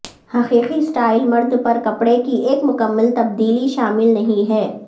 حقیقی سٹائل مرد پر کپڑے کی ایک مکمل تبدیلی شامل نہیں ہے